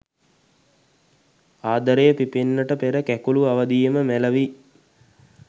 ආදරය පිපෙන්නට පෙර කැකූළු අවධියේදීම මැළවී